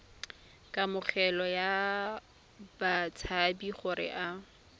kamogelo ya batshabi gore a